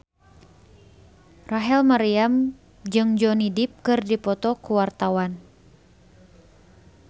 Rachel Maryam jeung Johnny Depp keur dipoto ku wartawan